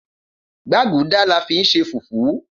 Gbaguda la fin ṣe fufu